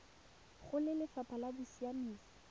go lefapha la bosiamisi le